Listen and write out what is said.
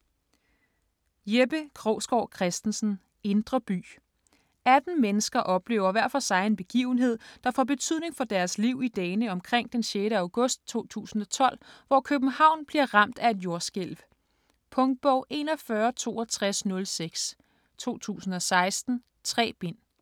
Krogsgaard Christensen, Jeppe: Indre by 18 mennesker oplever hver for sig en begivenhed, der får betydning for deres liv i dagene omkring den 6. august 2012, hvor København bliver ramt af et jordskælv. Punktbog 416206 2016. 3 bind.